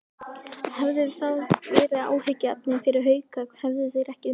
Hefði það verið áhyggjuefni fyrir Hauka, hefðu þeir ekki unnið?